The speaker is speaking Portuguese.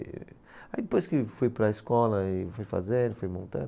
E aí depois que fui para a escola, e fui fazendo, fui montando.